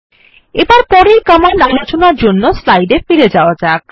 এবার পরের কমান্ড আলোচনার জন্য স্লাইড এ ফিরে যাওয়া যাক